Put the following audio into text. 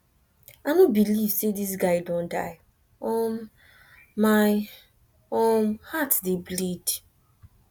i no believe say this guy don die um my um heart dey bleed